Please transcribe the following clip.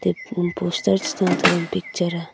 kum poster cha ta taga picture a.